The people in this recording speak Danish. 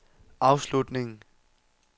afslutning